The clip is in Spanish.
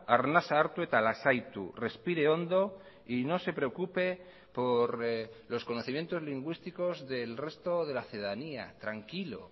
arnasa hartu eta lasaitu respire hondo y no se preocupe por los conocimientos lingüísticos del resto de la ciudadanía tranquilo